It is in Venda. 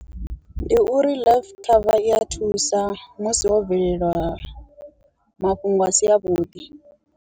Ndi uri life cover i ya thusa musi wo bveleliwa mafhungo a si a vhuḓi.